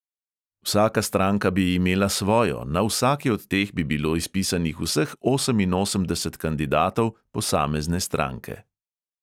Vsaka stranka bi imela svojo, na vsaki od teh bi bilo izpisanih vseh oseminosemdeset kandidatov posamezne stranke.